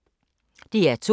DR2